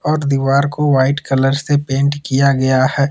और दीवार को व्हाइट कलर से पेंट किया गया है।